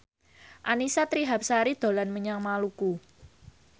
Annisa Trihapsari dolan menyang Maluku